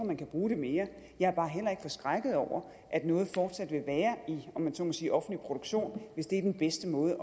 man kan bruge det mere jeg er bare heller ikke forskrækket over at noget fortsat vil være i om man så må sige offentlig produktion hvis det er den bedste måde